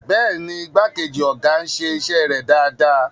Bẹ́ẹ̀ni, igbákejì ọ̀gá ń ṣe iṣẹ́ rẹ̀ dáadáa.